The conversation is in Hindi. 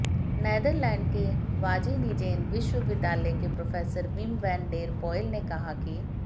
नेदरलैंड के वाजीनिजेन विश्वविद्यालय के professor Wim van der Poel ने कहा कि